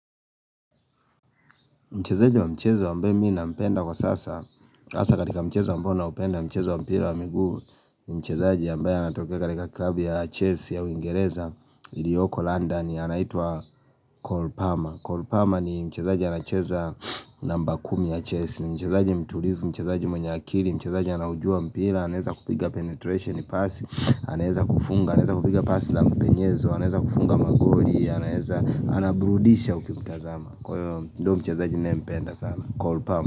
Mchezaji wa mchezo ambaye mi nampenda kwa sasa hasa katika mchezo ambao naupenda, mchezo wa mpira wa miguu Mchezaji ambaya anatokea katika klabu ya Chelsea ya uingereza ilioko London, anaitwa Cole Palmer, Cole Palmer ni mchezaji anacheza namba kumi ya Chelsea. Mchezaji mtulivu, mchezaji mwenye akili, mchezaji anaujua mpira. Anaweza kupiga penetration pass, anaeza kufunga, anaeza kupiga pasi za mpenyezo, anaeza kufunga magoli, anaeza, anabrudisha ukimtazama. Kwa hivyo, ndio mchezaji ninayempenda sana, Cole Palmer.